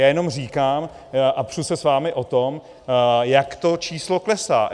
Já jenom říkám a přu se s vámi o tom, jak to číslo klesá.